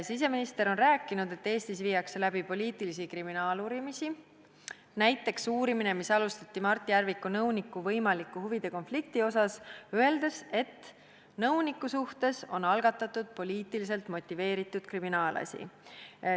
Siseminister on rääkinud, et Eestis viiakse läbi poliitilisi kriminaaluurimisi, näiteks uurimine, mis alustati Mart Järviku nõuniku võimaliku huvide konflikti kohta – nõuniku suhtes on algatatud poliitiliselt motiveeritud kriminaalasi.